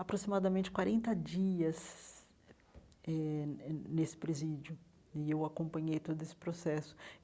aproximadamente quarenta dias eh eh nesse presídio, e eu acompanhei todo esse processo.